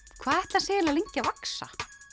hvað ætli hann sé eiginlega lengi að vaxa